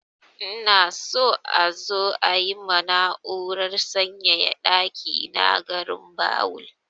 Ina so a zo yi ma na'urar sanyaya ɗaki na garinbawul.